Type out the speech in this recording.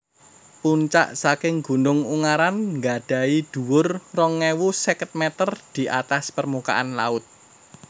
Puncak saking Gunung Ungaran gadhahi dhuwur rong ewu seket meter di atas permukaan laut